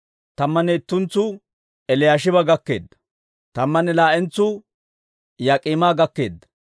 Tammanne ittentsu Eliyaashiba gakkeedda. Tammanne laa"entsuu Yaak'iima gakkeedda.